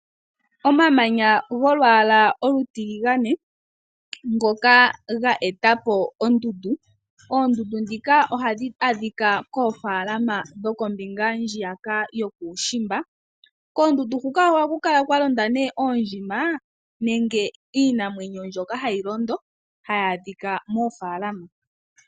Omamanya golwaala olutilagane, ngoka ga eta po ondundu, oondundu ndhika ohadhi adhika koofaalama dhokombinga ndjiyaka dhokuushimba. Koondundu huka ohaku kala kwa londa oondjima nenge iinamwenyo mbyoka hayi londo hayi adhika moofaalama.